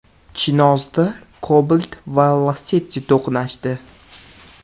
Chinozda Cobalt va Lacetti to‘qnashdi.